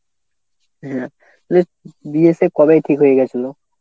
হ্যাঁ বিয়ে সেই কবেই ঠিক হয়ে গেছিল।